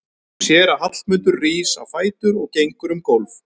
Hún sér að Hallmundur rís á fætur og gengur um gólf.